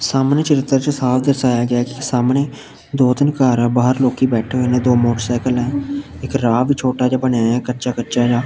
ਸਾਹਮਣੇ ਚਰਿੱਤਰ 'ਚ ਸਾਫ ਦਰਸਾਇਆ ਗਿਆ ਐ ਕਿ ਸਾਹਮਣੇ ਦੋ ਤਿੰਨ ਘਰ ਆ ਬਾਹਰ ਲੋਕੀ ਬੈਠੇ ਹੋਏ ਨੇ ਦੋ ਮੋਟਰਸਾਈਕਲ ਹੈ ਇੱਕ ਰਾਹ ਵੀ ਛੋਟਾ ਜਿਹਾ ਬਣਿਆ ਹੋਇਐ ਕੱਚਾ ਕੱਚਾ ਜਿਹਾ।